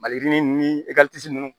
Maliyirinin ekɔliso nunnu